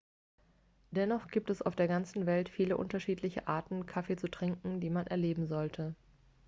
dennoch gibt es auf der ganzen welt viele unterschiedliche arten kaffee zu trinken die man erleben sollte